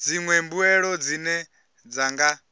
dziṅwe mbuelo dzine dza nga